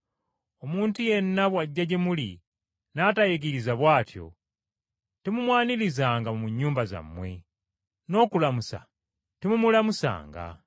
Omuntu yenna bw’ajja gye muli, n’atayigiriza bw’atyo, temumwanirizanga mu nnyumba yammwe, n’okulamusa temumulamusanga.